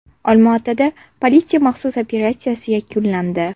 Olmaotada politsiya maxsus operatsiyasi yakunlandi.